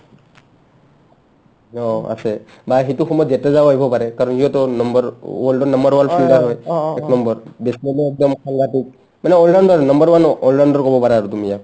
অ আছে বা সেটো সময়ত জাদেজাও আহিব পাৰে কাৰণ সিওটো number world ৰ number one fielder হয় একনম্বৰ মানে all-rounder number one ও all-rounder ক'বা পাৰা আৰু তুমি ইয়াক